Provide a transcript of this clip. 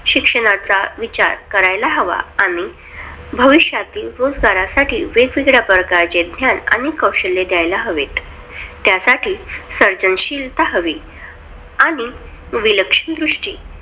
शिक्षणाचा विचार करायला हवा. आणि भविष्यातील रोजगारसाठी वेगवेगळ्या प्रकारचे ज्ञान कौशल्ये द्यायला हवीत. त्यासाठी सर्जनशीलता हवी आणि विलक्षण दृष्टी